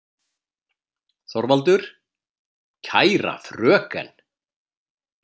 ÞORVALDUR: Kæra fröken!